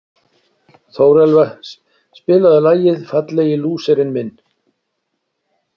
Þórelfa, spilaðu lagið „Fallegi lúserinn minn“.